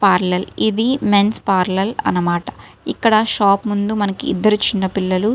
parallel ఇది men's parallel అనమాట ఇక్కడ షాప్ ముందు మనకి ఇద్దరు చిన్న పిల్లలు --